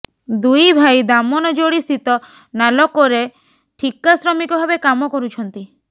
ଦୁଇ ଭାଇ ଦାମନଯୋଡ଼ିସ୍ଥିତ ନାଲକୋରେ ଠିକା ଶ୍ରମିକ ଭାବେ କାମ କରୁଛନ୍ତି